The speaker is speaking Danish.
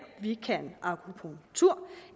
vi kan akupunktur